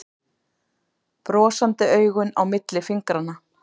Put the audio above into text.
Brosandi augun á milli fingranna.